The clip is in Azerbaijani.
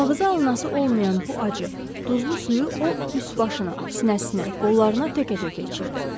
Ağza alınası olmayan bu acı, duzlu suyu o, üst başına, sinəsinə, qollarına təkə-təkə içirdi.